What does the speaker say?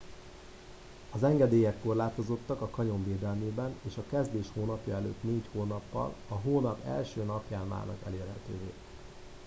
az engedélyek korlátozottak a kanyon védelmében és a a kezdés hónapja előtt 4 hónappal a hónap 1. napján válnak elérhetővé